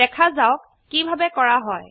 দেখা যাওক কিভাবে কৰা হয়